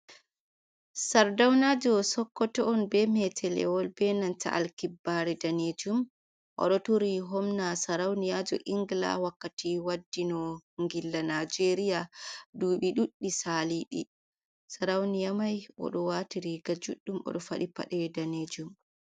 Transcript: Sardaunajow sokkoto on be metelewol benanta lkibbare danejum oɗo turi homna sarauniyajo ingla wakkati waddi no ngilla nijeria dubi ɗuɗdi salidi, sarauniya mai oɗo wati riga juɗɗum oɗo faɗi paɗe danejum.